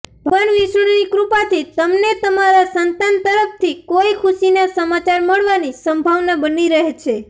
ભગવાન વિષ્ણુની કૃપાથી તમને તમારા સંતાન તરફથી કોઈ ખુશીના સમાચાર મળવાની સંભાવના બની રહી છે